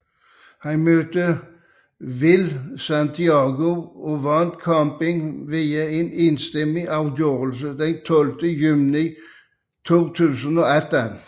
Han mødte Will Santiago og vandt kampen via en enstemmig afgørelse den 12 juni 2018